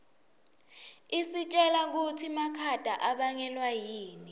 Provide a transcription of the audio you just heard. isitjela kutsi makhata abangelwa yini